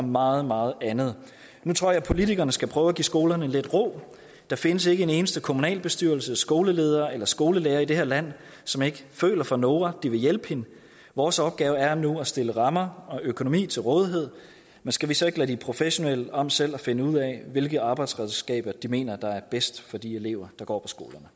meget meget andet nu tror jeg politikerne skal prøve at give skolerne lidt ro der findes ikke en eneste kommunalbestyrelse skoleleder eller skolelærer i det her land som ikke føler for noora de vil hjælpe hende vores opgave er nu at stille rammer og økonomi til rådighed men skal vi så ikke lade de professionelle om selv at finde ud af hvilke arbejdsredskaber de mener er bedst for de elever der går